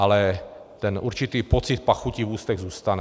Ale ten určitý pocit pachuti v ústech zůstane.